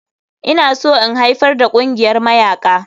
Ina so in haifar da ƙungiyar mayaƙa.